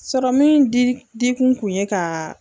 Sɔrɔ min di di kun kun ye ka.